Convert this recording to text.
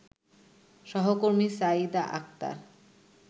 সহকর্মী সাইয়েদা আক্তার